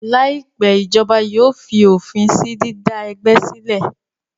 Láìpẹ́, ìjọba yóò fi òfin sí dídá ẹgbẹ́ sílẹ̀